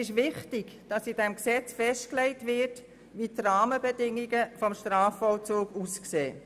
In diesem Gesetz muss festgelegt werden, wie die Rahmenbedingungen des Strafvollzuges aussehen.